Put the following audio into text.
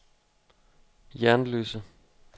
Jernløse